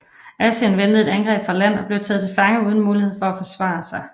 Asin ventede et angreb fra land og blev taget til fange uden mulighed for at forsvare sig